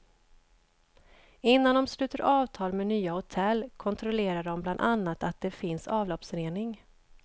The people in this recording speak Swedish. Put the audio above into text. Innan de sluter avtal med nya hotell kontrollerar de bland annat att det finns avloppsrening.